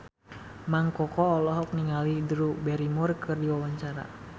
Mang Koko olohok ningali Drew Barrymore keur diwawancara